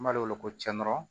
N b'ale wele ko cɛ nɔrɔ